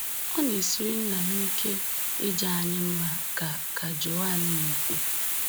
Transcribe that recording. "Ọ na-esiri nna m ike ịja anyị mma,” ka ka Joan na-ekwu.